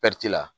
la